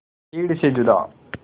भीड़ से जुदा